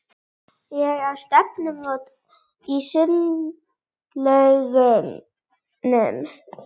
Ég á stefnumót í sundlaugunum.